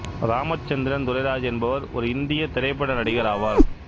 ராமச்சந்திரன் துரைராஜ் என்பவர் ஒரு இந்திய திரைப்பட நடிகர் ஆவார்